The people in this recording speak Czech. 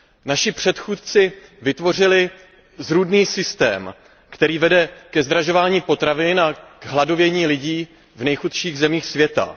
Naši předchůdci vytvořili zrůdný systém, který vede ke zdražování potravin a k hladovění lidí v nejchudších zemích světa.